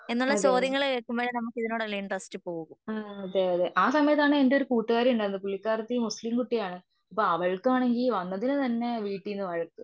അതെ യതേ അതെ യതെ ആ സമയതാണ് എന്റെ ഒരു കൂട്ടുകാരിയുണ്ടായിരുന്നു. പുള്ളിക്കാരിത്തി മുസ്ലിം കുട്ടി ആണ്. അപ്പ അവൾക്കാണെങ്കിൽ വന്നതിന് തന്നെ വീട്ടീന്ന് വഴക്ക്.